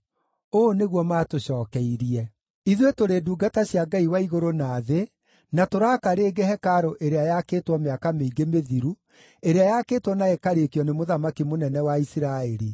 Ũũ nĩguo maatũcokeirie: “Ithuĩ tũrĩ ndungata cia Ngai wa igũrũ na thĩ, na tũraaka rĩngĩ hekarũ ĩrĩa yakĩtwo mĩaka mĩingĩ mĩthiru, ĩrĩa yakĩtwo na ĩkarĩkio nĩ mũthamaki mũnene wa Isiraeli.